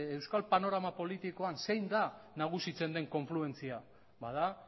euskal panorama politikoan zein den nagusitzen den konfluentzia ba da